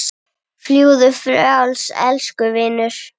Fljúgðu frjáls, elsku vinur.